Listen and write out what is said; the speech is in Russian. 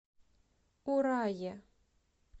урае